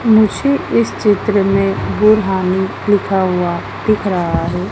मुझे इस चित्र में लिखा हुआ दिख रहा है।